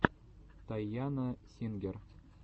тайана сингер